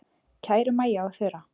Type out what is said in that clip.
Kæru Maja og Þura.